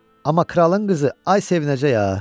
Amma kralın qızı, ay sevinəcək ha.